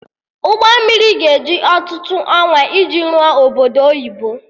Ụgbọ mmiri ga-eji ọtụtụ ọnwa iji rụọ obodo oyibo